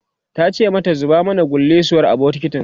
tace mata "zuba kullisuwar a bukitin!"